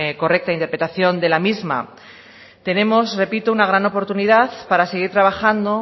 correcta interpretación de la misma tenemos repito una gran oportunidad para seguir trabajando